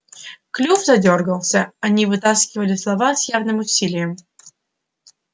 клюв задёргался они выталкивали слова с явным усилием